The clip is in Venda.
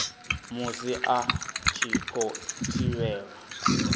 musi a tshi khou thivhelwa